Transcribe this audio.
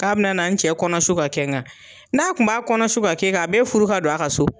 K'a bina na n cɛ kɔnɔsu ka kɛ n ka, n'a kun b'a kɔnɔsu ka k'e kan, a be furu ka don a ka so ?